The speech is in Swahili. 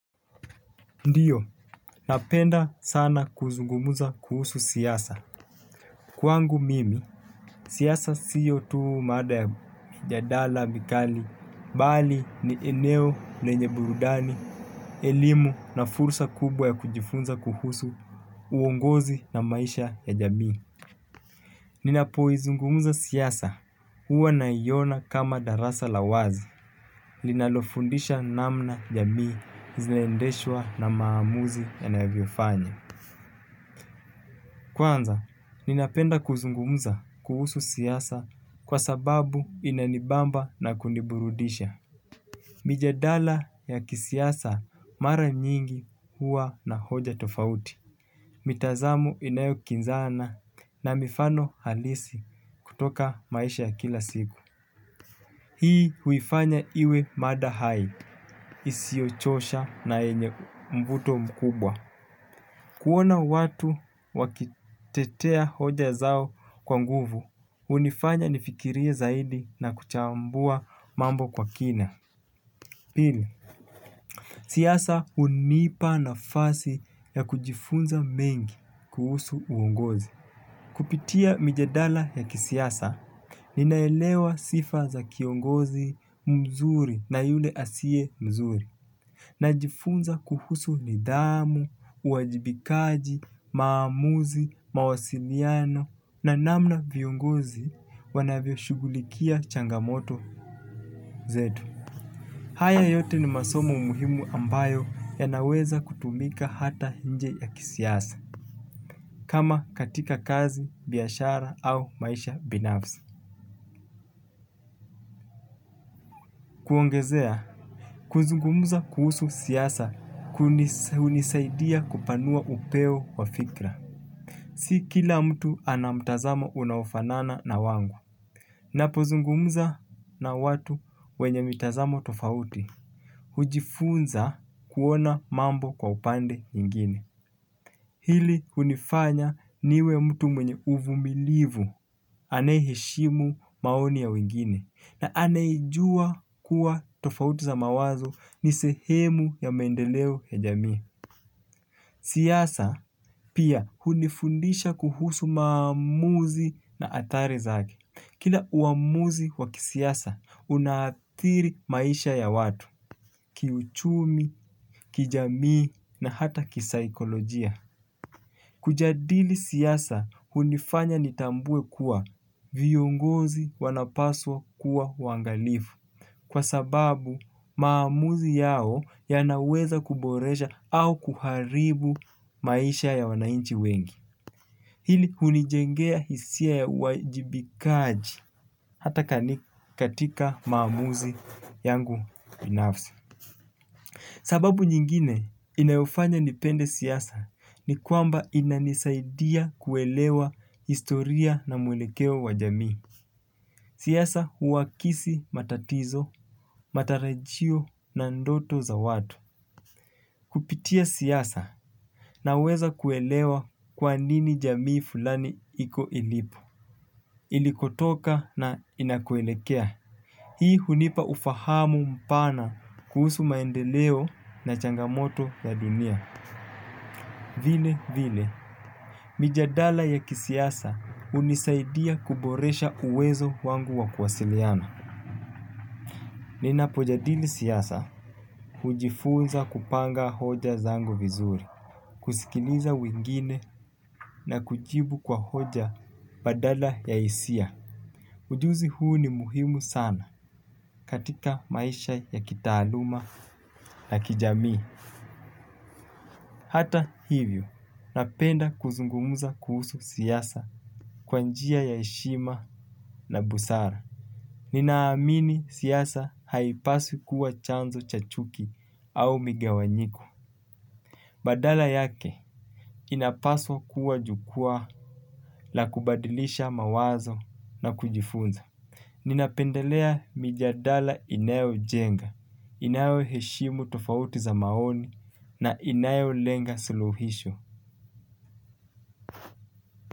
Ndiyo, napenda sana kuzungumuza kuhusu siyasa. Kwangu mimi siasa sio tu mada ya mijadala mikali bali ni eneo lenye burudani elimu na fursa kubwa ya kujifunza kuhusu uongozi na maisha ya jamii. Ninapoizungumuza siasa, huwa naiona kama darasa la wazi, linalofundisha namna jamii, zilendeshwa na maamuzi ya navyofanya. Kwanza, ninapenda kuzungumuza kuhusu siasa kwa sababu inanibamba na kuniburudisha. Mijadala ya kisiasa mara nyingi huwa na hoja tofauti. Mitazamo inayo kinzana na mifano halisi kutoka maisha ya kila siku. Hii huifanya iwe mada hai isiochosha na yenye mvuto mkubwa. Kuona watu wakitetea hoja zao kwa nguvu, hunifanya nifikirie zaidi na kuchambua mambo kwa kina. Pili, siasa hunipa nafasi ya kujifunza mengi kuhusu uongozi. Kupitia mijadala ya kisiasa, ninaelewa sifa za kiongozi mzuri na yule asiye mzuri. Najifunza kuhusu nidhamu, uwajibikaji, maamuzi, mawasiliano na namna viongozi wanavyo shugulikia changamoto zetu. Haya yote ni masomo muhimu ambayo yanaweza kutumika hata nje ya kisiasa, kama katika kazi, biashara au maisha binafsi. Kuongezea, kuzungumuza kuhusu siasa hunisaidia kupanua upeo wa fikra. Si kila mtu ana mtazamo unaofanana na wangu. Napozungumza na watu wenye mitazamo tofauti. Hujifunza kuona mambo kwa upande ingine. Hili hunifanya niwe mtu mwenye uvumilivu anayeheshimu maoni ya wengine na anayejua kuwa tofauti za mawazo nisehemu ya maendeleo ya jamii. Siasa pia hunifundisha kuhusu maamuzi na athari zake. Kila uamuzi wakisiasa unathiri maisha ya watu, kiuchumi, kijamii na hata kisaikolojia. Kujadili siasa, hunifanya nitambue kuwa viongozi wanapaswa kuwa waangalifu. Kwa sababu maamuzi yao yanaweza kuboresha au kuharibu maisha ya wananchi wengi. Hili hunijengea hisia ya uwajibikaji hata katika maamuzi yangu binafsi. Sababu nyingine inayofanya nipende siasa ni kwamba inanisaidia kuelewa historia na mwelekeo wa jamii. Siasa huwakisi matatizo, matarajio na ndoto za watu. Kupitia siasa naweza kuelewa kwa nini jamii fulani iko ilipo. Ilikotoka na inakoelekea. Hii hunipa ufahamu mpana kuhusu maendeleo na changamoto ya dunia. Vile vile, mijadala ya kisiasa hunisaidia kuboresha uwezo wangu wa kuwasiliana. Nina pojadili siasa, hujifunza kupanga hoja zangu vizuri, kusikiliza wengine na kujibu kwa hoja badala ya hisia. Ujuzi huu ni muhimu sana katika maisha ya kitaaluma na kijamii. Hata hivyo napenda kuzungumza kuhusu siasa kwa njia ya heshima na busara. Ninaamini siyasa haipaswi kuwa chanzo cha chuki au migawanyiko. Badala yake inapaswa kuwa jukwaa la kubadilisha mawazo na kujifunza. Ninapendelea mijadala inayojenga, inayoheshimu tofauti za maoni na inayolenga sulihisho.